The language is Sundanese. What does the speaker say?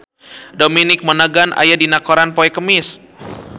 Dominic Monaghan aya dina koran poe Kemis